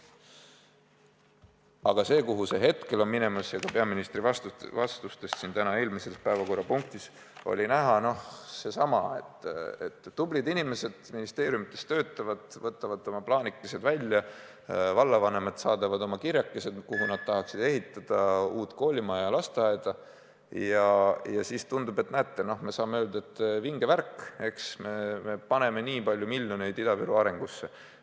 Aga suund, kuhu see plaan hetkel on minemas – ja ka peaministri vastustes eelmise päevakorrapunkti juures oli seda näha –, on selline, et tublid inimesed ministeeriumides töötavad, võtavad oma plaanikesed välja, vallavanemad saadavad oma kirjakesi, kuhu nad tahaksid ehitada uut koolimaja või lasteaeda, ja siis tundub, et näete, me saame öelda, et vinge värk, eks ole, me paneme nii palju miljoneid Ida-Virumaa arengusse.